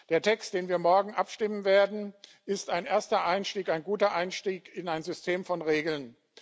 Der Text, über den wir morgen abstimmen werden, ist ein erster Einstieg ein guter Einstieg in ein System von Regeln.